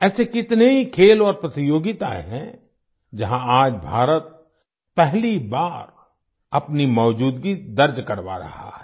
ऐसे कितने ही खेल और प्रतियोगिताएं हैं जहाँ आज भारत पहली बार अपनी मौजूदगी दर्ज करवा रहा है